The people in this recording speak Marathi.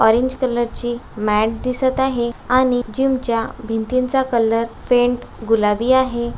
ऑरेंज कलर ची मैट दिसत आहे आणि जिमच्या भिंतींचा कलर पेंट गुलाबी आहे.